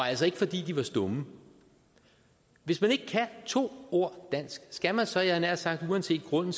altså ikke fordi de var stumme hvis man ikke kan to ord dansk skal man så jeg havde nær sagt uanset grunden